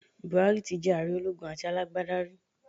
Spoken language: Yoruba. Buhari ti jé ààre ológun àti alágbádá rí